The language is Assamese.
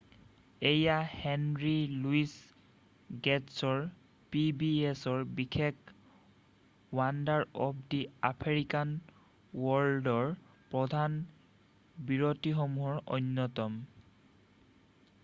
এয়া হেনৰী লুই গে'টছৰ pbsৰ বিশেষ ৱণ্ডাৰ অৱ দা আফ্ৰিকান ৱৰ্ল্ডৰ প্ৰধান বিৰতিসমূহৰ অন্যতম।